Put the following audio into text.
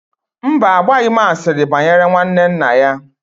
Mba, agbaghị m asịrị banyere nwanne nna ya